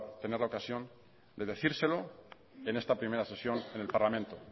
tener la ocasión de decírselo en esta primera sesión en el parlamento